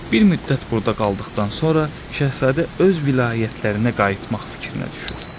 Bir müddət burda qaldıqdan sonra şahzadə öz vilayətlərinə qayıtmaq fikrinə düşür.